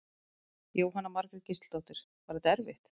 Jóhanna Margrét Gísladóttir: Var þetta erfitt?